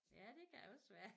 Ja det kan også være